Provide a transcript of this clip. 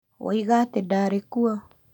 Woĩga atĩ ndarĩ kuo?